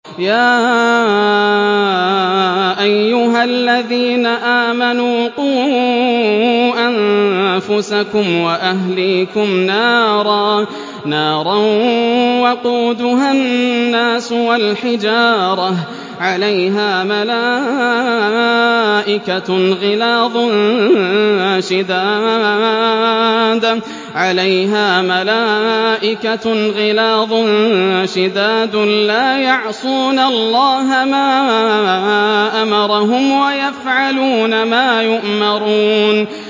يَا أَيُّهَا الَّذِينَ آمَنُوا قُوا أَنفُسَكُمْ وَأَهْلِيكُمْ نَارًا وَقُودُهَا النَّاسُ وَالْحِجَارَةُ عَلَيْهَا مَلَائِكَةٌ غِلَاظٌ شِدَادٌ لَّا يَعْصُونَ اللَّهَ مَا أَمَرَهُمْ وَيَفْعَلُونَ مَا يُؤْمَرُونَ